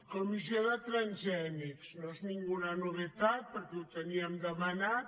comissió de transgènics no és cap novetat perquè ho teníem demanat